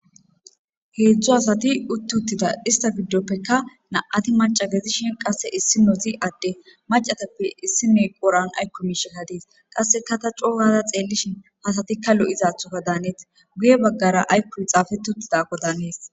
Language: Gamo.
Heedzdzo hasati uttuttida ista fiddoppekka na'ati macagezishin qasse issi nozi adde macatappe issi noy qoran aykko miishe kadiis qasseka ta coogaza xeellishin hasatikka lo'izathoka daanees guye baggara aykkohi xaafetuttidako daanees.